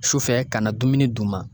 Sufɛ ka na dumuni d'u ma.